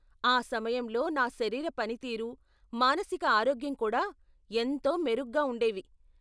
ఆ సమయంలో నా శరీర పనితీరు, మానసిక ఆరోగ్యం కూడా ఎంతో మెరుగ్గా ఉండేవి.